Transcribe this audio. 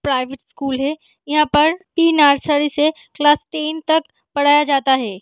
Private school है यहाँ पर प्री नर्सरी से क्लास टेन तक पढ़ाया जाता है।